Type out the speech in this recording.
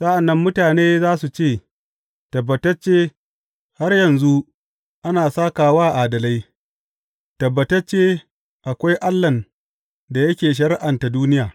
Sa’an nan mutane za su ce, Tabbatacce har yanzu ana sāka wa adalai; tabbatacce akwai Allahn da yake shari’anta duniya.